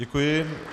Děkuji.